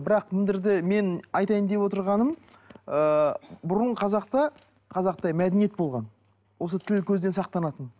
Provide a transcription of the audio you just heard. бірақ мына жерде мен айтайын деп отырғаным ыыы бұрын қазақта қазақта мәдениет болған осы тіл көзден сақтанатын